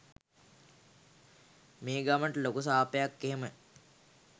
මේ ගමට ලොකු සාපයක් එහෙම